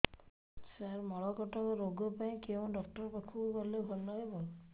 ସାର ମଳକଣ୍ଟକ ରୋଗ ପାଇଁ କେଉଁ ଡକ୍ଟର ପାଖକୁ ଗଲେ ଭଲ ହେବ